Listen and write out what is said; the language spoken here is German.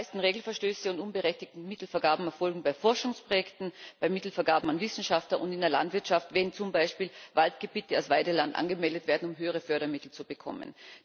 Die meisten Regelverstöße und unberechtigten Mittelvergaben erfolgen bei Forschungsprojekten, bei Mittelvergaben an Wissenschaftler und in der Landwirtschaft, wenn zum Beispiel Waldgebiete als Weideland angemeldet werden, um höhere Fördermittel zu bekommen.